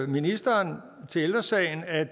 ministeren til ældre sagen at